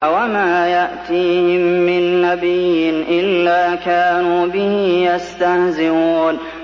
وَمَا يَأْتِيهِم مِّن نَّبِيٍّ إِلَّا كَانُوا بِهِ يَسْتَهْزِئُونَ